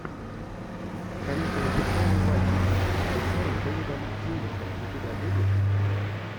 каникулы петрова и васечкина с актером дэвидом тьюлисом у тебя будет